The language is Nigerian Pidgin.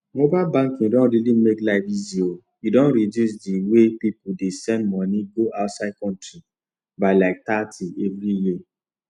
mobile banking don really make life easy o e don reduce d way pipu dey send moni go outside country by like thirty everi year